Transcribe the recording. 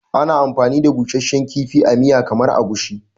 Ana amfani da busasshen kifi a miyar kamar Egusi.